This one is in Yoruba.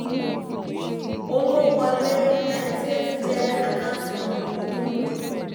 owó wọlé ninety eight jẹ́ àkáǹtí ohun ìní tó ń dínkù.